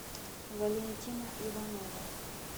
валентина иванова